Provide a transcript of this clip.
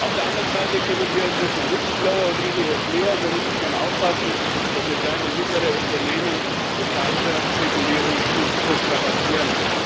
Auf der anderen Seite kümmern wir uns jetzt um Whistleblower und Ähnliches mehr, und wir müssen schon aufpassen, dass wir kleine und mittlere Unternehmen nicht mit falscher Regulierung überstrapazieren.